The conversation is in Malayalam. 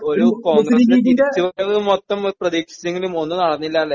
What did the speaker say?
ഒരു കോൺഗ്രസിൻ്റെ തിരിച്ചുവരവ് മൊത്തം പ്രതീക്ഷിച്ചെങ്കിലും ഒന്നും നടന്നില്ലാല്ലേ?